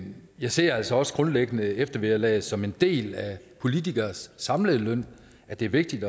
jeg ser altså også grundlæggende eftervederlaget som en del af politikeres samlede løn det er vigtigt